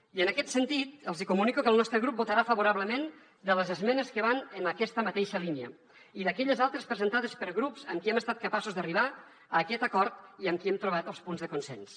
i en aquest sentit els hi comunico que el nostre grup votarà favorablement a les esmenes que van en aquesta mateixa línia i a aquelles altres presentades per grups amb qui hem estat capaços d’arribar a aquest acord i amb qui hem trobat els punts de consens